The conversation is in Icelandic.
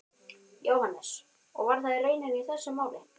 Jóhannes: Og var það raunin í þessu máli?